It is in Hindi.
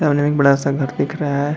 सामने में एक बड़ा-सा घर दिख रहा --